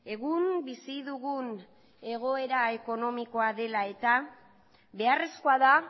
egun bizi dugun egoera ekonomikoa dela eta beharrezkoa da